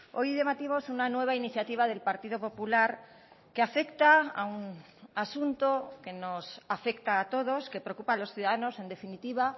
hoy debatimos una nueva iniciativa del partido popular que afecta a un asunto que nos afecta a todos que preocupa a los ciudadanos en definitiva